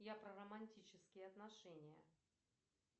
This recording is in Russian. я про романтические отношения